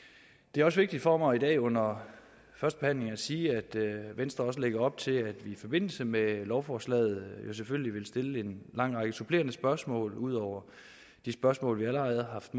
det er også vigtigt for mig i dag under førstebehandlingen at sige at venstre lægger op til at vi i forbindelse med lovforslaget selvfølgelig vil stille en lang række supplerende spørgsmål ud over de spørgsmål vi allerede har haft